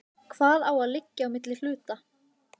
Hvað á að liggja á milli hluta?